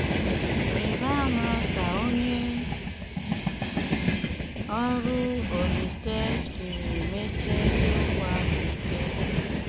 Rị̀bá àmá kà ònye ọrụ Olíse siri mesie ezíokwù áhụ ike.